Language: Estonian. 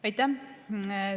Aitäh!